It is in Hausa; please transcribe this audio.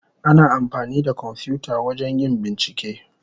Ana amfani da kwamfuta wajen yin bincike.